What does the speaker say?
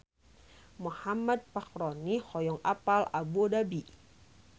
Muhammad Fachroni hoyong apal Abu Dhabi